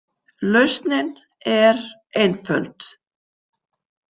„Lausnin er einföld“.